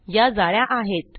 या जाळ्या आहेत